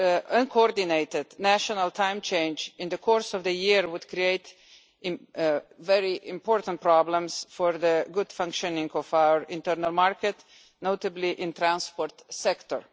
Uncoordinated national time change in the course of the year would create very significant problems for the good functioning of our internal market, notably in the transport sector.